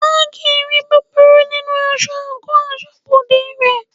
Haggi ri búburú nínú aṣọ àńkò asọ́bodè rẹ̀.